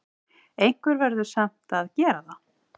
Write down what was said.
Einhver verður samt að gera það!